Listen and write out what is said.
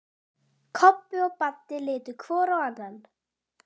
Kobbi og Baddi litu hvor á annan.